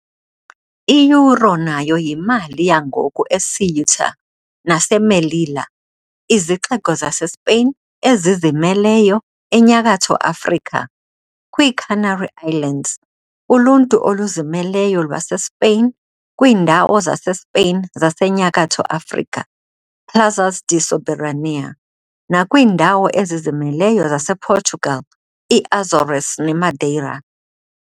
I-euro nayo yimali yangoku eCeuta naseMelilla, izixeko zaseSpain ezizimeleyo eNyakatho Afrika, kwiiCanary Islands, uluntu oluzimeleyo lwaseSpain, kwiindawo zaseSpain zaseNyakatho Afrika, Plazas de soberanía, nakwiindawo ezizimeleyo zasePortugal, iAzores neMadeira.